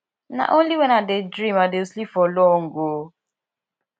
na only wen i dey dream i dey sleep for long o